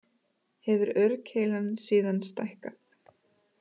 Hefur aurkeilan síðan stækkað